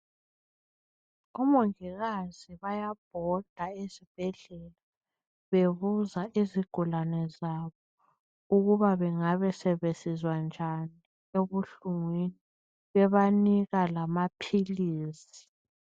Omongikazi bayabhoda ezibhedlela bebuza izigulane zabo ukuba bengabe sebesizwa njani ebuhlungwini bebanika lamaphilizi